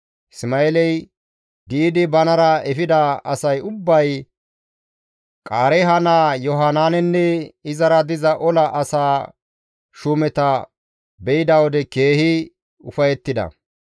Isma7eeley di7idi banara efida asay ubbay Qaareeha naa Yohanaanenne izara diza ola asaa shuumeta be7ida wode keehi ufayettida.